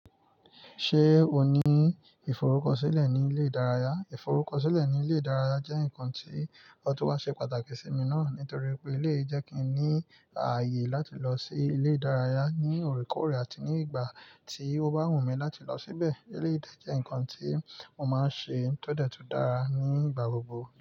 Ṣé o ní ìforúkọ sílẹ̀ ní ilé ìdárayá? Ìforúkọ sílẹ̀ ní ilé ìdárayá jẹ́ nǹkan tí ọ̀tọ̀ọ́ wá ṣe pàtàkì sí mi náà nítorí pé ilé ìdẹ́ kí n ní ààyè láti lọ sí ilé ìdárayá ní òrékòrè àti ní ìgbà tí ó bá wù mí láti lọ síbẹ̀. Èleyi dẹ́ jẹ́ nǹkan tí mo máa ń ṣe tó dẹ̀ tun dára ní ìgbà gbogbo.